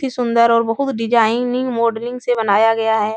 ती सुन्दर और बहुत डिजाइनिंग मॉडलिंग से बनाया गया है।